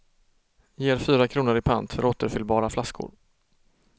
Ger fyra kronor i pant för återfyllbara flaskor.